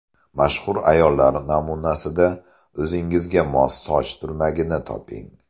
Mashhur ayollar namunasida o‘zingizga mos soch turmagini toping.